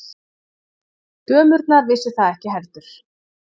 Dömurnar vissu það ekki heldur.